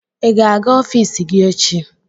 Ị ga-aga ọfiisi gị echi?